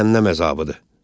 Cəhənnəm əzabıdır.